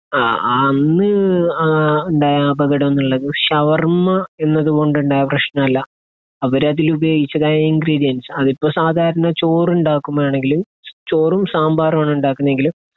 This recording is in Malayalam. അന്ന് അഹ് ഉണ്ടായ അപകടം എന്നുള്ളത് ഷവർമ്മ എന്നതുകൊണ്ടുണ്ടായ പ്രശ്നമല്ല. അവരതിൽ ഉപയോഗിച്ചതായി ഇൻഗ്രീഡിയൻറ്സ്, അതിപ്പോ സാധാരണ ചോറ് ഉണ്ടാക്കുമ്പോഴാണെങ്കിൽ ചോറും സാമ്പാറുമാണ് ഉണ്ടാക്കുന്നതെങ്കിൽ